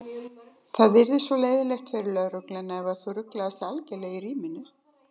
Það yrði svo leiðinlegt fyrir lögregluna ef þú ruglaðist algerlega í ríminu.